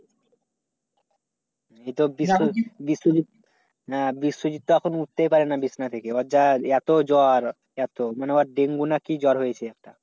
হ্যাঁ বিশ্বজিৎ তো এখন উঠতেই পারে না বিছানা থেকে। ওর যা এত জ্বর এত মানে ওর ডেঙ্গু নাকি জ্বর হয়েছে।